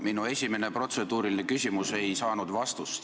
Minu esimene protseduuriline küsimus ei saanud vastust.